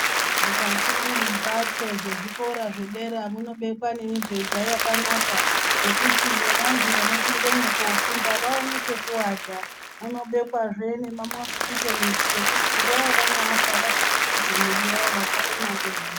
Mukati membatso dzezvikora zvedera munobekwa nemibhedha yakanaka nekuti nevanhu vanopinda kofunda vaone pekugara munobekwazve mosquito net yekuti nguwa yavanoata vazvifukidze mwiri yawo.